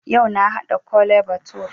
Yau na haɗa Kole bature